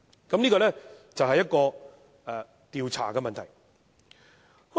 這是關於調查的問題。